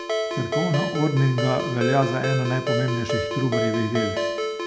Cerkovna ordninga velja za eno najpomembnejših Trubarjevih del.